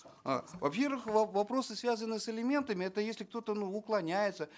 э во первых вопросы связанные с алиментами это если кто то ну уклоняется